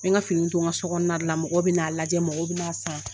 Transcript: N bɛ ka finiw to nka sokɔnɔ na de la mɔgɔw bɛ n'a lajɛ mɔgɔw bɛ na san.